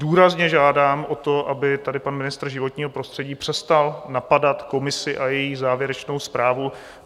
Důrazně žádám o to, aby tady pan ministr životního prostředí přestal napadat komisi a její závěrečnou zprávu.